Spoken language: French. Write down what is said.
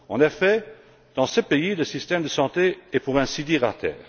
En effet, dans ce pays, le système de santé est pour ainsi dire à terre.